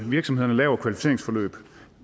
virksomhederne laver et kvalificeringsforløb